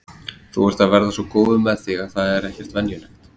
Þú ert að verða svo góður með þig að það er ekkert venjulegt.